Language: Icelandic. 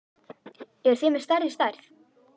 Eruð þið með stærri stærð?